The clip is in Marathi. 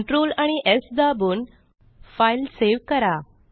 कंट्रोल आणि स् दाबून फाईल सेव्ह करा